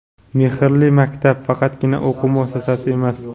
"Mehrli maktab" – faqatgina o‘quv muassasasi emas.